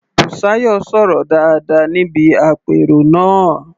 Bùsáyọ̀ sọ̀rọ̀ dáadáa níbi àpérò náà.